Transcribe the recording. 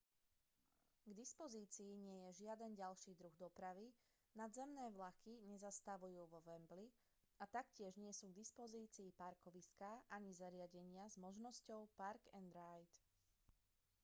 k dispozícii nie je žiaden ďalší druh dopravy nadzemné vlaky nezastavujú vo wembley a taktiež nie sú k dispozícii parkoviská ani zariadenia s možnosťou park-and-ride